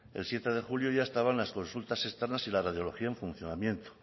el siete de julio ya estaban las consultas externas y la radiología en funcionamiento